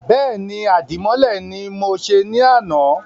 Bẹ́ẹ̀ni, Àdìmọ́lẹ̀ ni mọ se ní àná